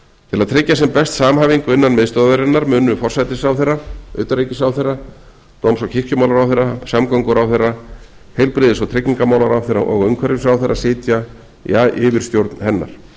til að tryggja sem best samhæfingu innan miðstöðvarinnar munu forsætisráðherra utanríkisráðherra dóms og kirkjumálaráðherra samgönguráðherra heilbrigðis og tryggingamálaráðherra og umhverfisráðherra sitja í yfirstjórn hennar